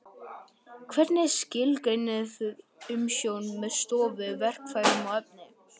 Hvernig skilgreinið þið umsjón með stofu, verkfærum og efni?